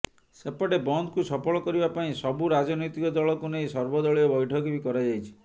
ସେପଟେ ବନ୍ଦକୁ ସଫଳ କରିବା ପାଇଁ ସବୁ ରାଜନୈତିକ ଦଳକୁ ନେଇ ସର୍ବ ଦଳୀୟ ବୈଠକ ବି କରାଯାଇଛି